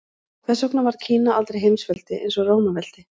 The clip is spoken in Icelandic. Hvers vegna varð Kína aldrei heimsveldi eins og Rómaveldi?